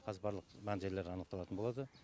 қазір барлық мән жайлар анықталатын болады